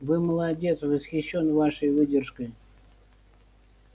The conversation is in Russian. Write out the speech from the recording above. вы молодец восхищён вашей выдержкой